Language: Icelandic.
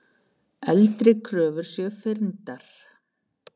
Eldri kröfur sé fyrndar.